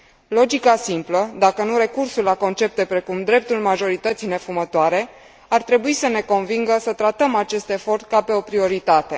Logica simplă, dacă nu recursul la concepte precum dreptul majorității nefumătoare ar trebui să ne convingă să tratăm acest efort ca pe o prioritate.